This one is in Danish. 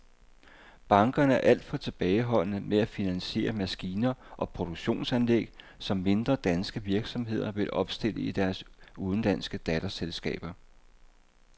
Bankerne er alt for tilbageholdende med at finansiere maskiner og produktionsanlæg, som mindre danske virksomheder vil opstille i deres udenlandske datterselskaber.